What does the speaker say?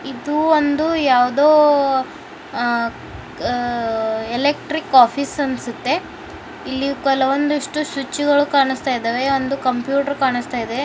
ಇದು ಒಂದು ಯಾವುದೋ ಅ ಅ ಎಲೆಕ್ಟ್ರಿಕ್ ಆಫೀಸ್ ಅನ್ಸುತ್ತೆ ಇಲ್ಲಿ ಕೆಲವೊಂದಿಷ್ಟು ಸ್ವಿಚ್ ಗಳು ಕಾಣುತ್ತಿವೆ ಒಂದು ಕಂಪ್ಯೂಟರ್ ಕಾಣಿಸ್ತಾ ಇದೆ.